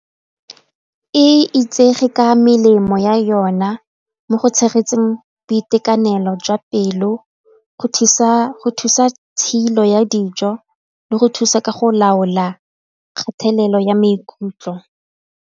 E itsege ka melemo ya yona mo go tshegetseng boitekanelo jwa pelo go thusa tshilo ya dijo le go thusa ka go laola kgatelelo ya maikutlo.